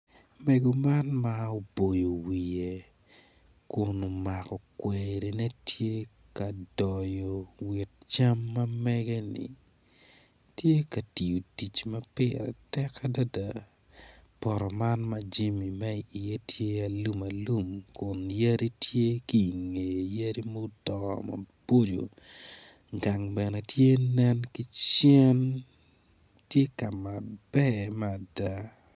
Mego man ma oboyo wiye kun umako kwerine tye ka doyo cam ma mege-ni tye ka tiyo tic ma pire tek adada poto man ma jimi mi iye tye alum alum kun yadi tye ki ingeye yadi mudongo maboco gang bene ti nen ki cen ti kama ber mada